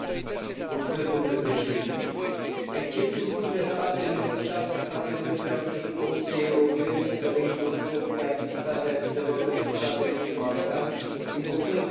Recent, un grup de șase state membre a cerut Comisiei Europene să reintroducă obligativitatea vizelor pentru statele din Balcani, invocând ca motiv solicitările false de azil.